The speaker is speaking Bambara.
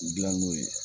Gilan n'o ye